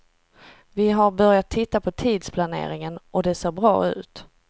Vi har börjat titta på tidsplaneringen, och det ser bra ut.